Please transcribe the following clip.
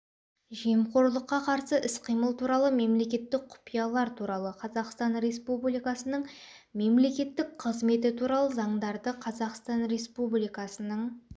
жемқорлыққа қарсы іс-қимыл туралы мемлекеттік құпиялар туралы қазақстан республикасының мемлекеттік қызметі туралы заңдарды қазақстан республикасының